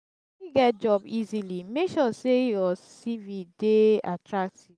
to fit get job easily make sure say you cv de attractive